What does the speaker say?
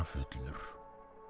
fullur